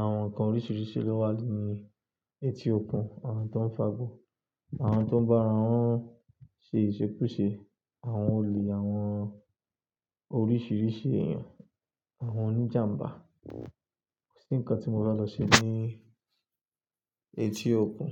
Àwọn nǹkan oríṣiríṣi ló wà nínú etí òkun, àwọn tó ń fagbó, àwọn tó ń bá ara wọn ṣe ìṣekúṣe, àwọn olè, àwọn oríṣiríṣi èèyàn, àwọn oníjàǹbá. Kò sí nǹkan tí mo fẹ́ lọ ṣe ní etí òkun.